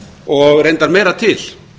og reyndar meira til